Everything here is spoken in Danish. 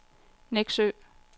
Nexø